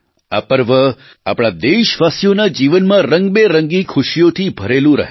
આ પર્વ આપણા દેશવાસીઓના જીવનમાં રંગબેરંગી ખુશીઓથી ભરેલું રહે